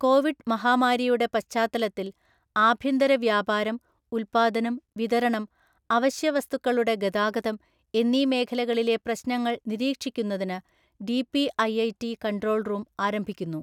Covid മഹാമാരിയുടെ പശ്ചാത്തലത്തിൽ ആഭ്യന്തര വ്യാപാരം, ഉത്പാദനം, വിതരണം, അവശ്യവസ്തുക്കളുടെ ഗതാഗതം എന്നീ മേഖലകളിലെ പ്രശ്നങ്ങൾ നിരീക്ഷിക്കുന്നതിന് ഡിപിഐഐടി കൺട്രോൾ റൂം ആരംഭിക്കുന്നു